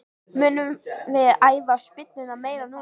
Munum við æfa spyrnurnar meira núna?